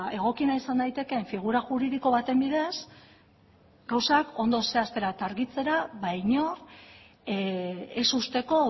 egokiena izan daitekeen figura juridiko baten bidez gauzak ondo zehaztera eta argitzera inor ez uzteko